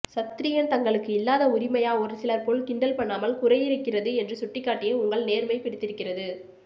சத்ரியன் தங்களுக்கு இல்லாத உரிமையா ஒரு சிலர் போல் கிண்டல் பண்ணாமல் குறையிருக்கிறது என்று சுட்டிக்காட்டிய உங்கள் நேர்மை பிடித்திருக்கிறது